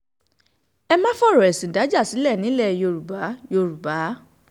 ẹ má fọ̀rọ̀ ẹ̀sìn dájà sílẹ̀ nílẹ̀ yorùbá yorùbá